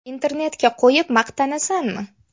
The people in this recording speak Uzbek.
Internetga qo‘yib maqtanasanmi?